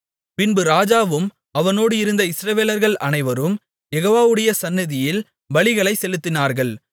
பின்பு ராஜாவும் அவனோடு இருந்த இஸ்ரவேலர்கள் அனைவரும் யெகோவாவுடைய சந்நிதியில் பலிகளைச் செலுத்தினார்கள்